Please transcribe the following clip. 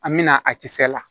An mɛna a kisɛ la